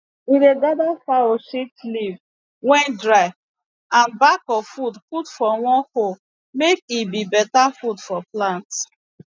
we dey gather fowl shit leaf wey dry and back of wood put for one hole make e be better food for plant